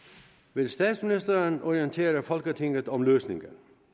vil statsministeren orientere folketinget om løsningen